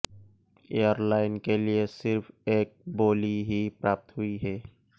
airline के लिए सिर्फ एक बोली ही प्राप्त हुई है